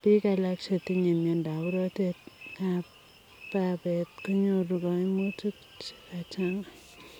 Piik alaak chetinyee miondoop rotet ap babet konyoruu kaimutik chekachangaa